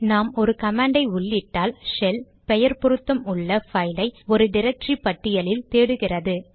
நாம் ஒரு கமாண்டை உள்ளிட்டால் ஷெல் பெயர் பொருத்தம் உள்ள பைல் ஐ ஒரு டிரக்டரி பட்டியலில் தேடுகிறது